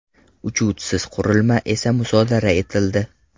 Uchuvchisiz qurilma esa musodara etildi.